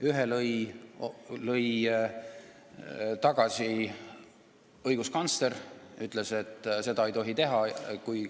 Ühe katse lõi tagasi õiguskantsler, kes ütles, et seda ei tohi teha.